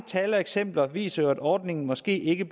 tal og eksempler viser jo at ordningen måske ikke